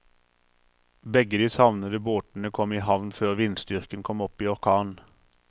Begge de savnede båtene kom i havn før vindstyrken kom opp i orkan.